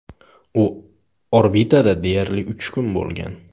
U orbitada deyarli uch kun bo‘lgan.